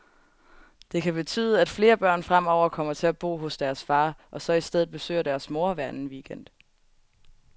Det kan betyde, at flere børn fremover kommer til at bo hos deres far, og så i stedet besøger deres mor hver anden weekend.